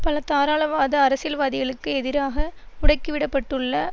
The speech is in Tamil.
பல தாராளவாத அரசியல்வாதிகளுக்கு எதிராக முடக்கி விட பட்டுள்ள